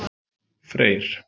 Freyr